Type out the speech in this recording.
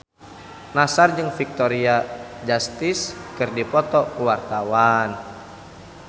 Nassar jeung Victoria Justice keur dipoto ku wartawan